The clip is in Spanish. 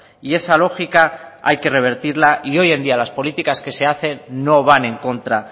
y esa lógica hay que revertirla y hoy en día las políticas que se hacen no van en contra